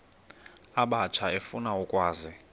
abatsha efuna ukwazi